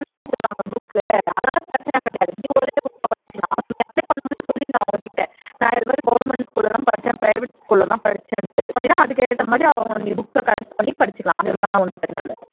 நான் government school ல தான் படிச்சேன் private school ல தான் படிச்சேன்னா அதுக்கு ஏத்தமாதிரி அவங்க books ஐ collect பண்ணி படிச்சுக்கலாம்